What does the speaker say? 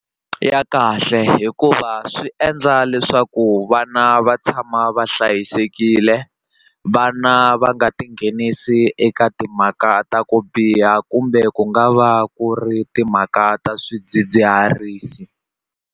Ya kahle hikuva swi endla leswaku vana va tshama va hlayisekile vana va nga tinghenisi eka timhaka ta ku biha kumbe ku nga va ku ri timhaka ta swidzidziharisi.